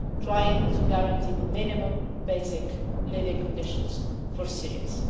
trying to guarantee the minimum basic living conditions for Syrians.